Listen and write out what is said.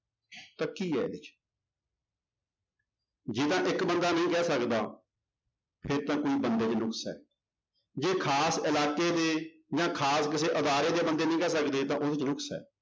ਤਾਂ ਕੀ ਹੈ ਇਹਦੇ ਚ ਜੇ ਤਾਂ ਇੱਕ ਬੰਦਾ ਨਹੀਂ ਕਹਿ ਸਕਦਾ ਫਿਰ ਤਾਂ ਕੋਈ ਬੰਦੇ ਚ ਨੁਕਸ ਹੈ ਜੇ ਖ਼ਾਸ ਇਲਾਕੇ ਦੇ ਜਾਂ ਖ਼ਾਸ ਕਿਸੇ ਅਦਾਰੇ ਦੇ ਬੰਦੇ ਨੀ ਕਹਿ ਸਕਦੇ ਤਾਂਂ ਉਹਦੇ ਚ ਨੁਕਸ ਹੈ।